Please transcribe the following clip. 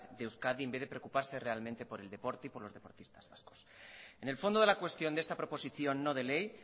de euskadi en vez de preocuparse realmente por el deporte y por los deportistas vascos en el fondo de la cuestión de esta proposición no de ley